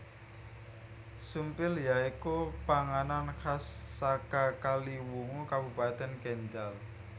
Sumpil ya iku panganan khas saka Kaliwungu Kabupatèn Kendhal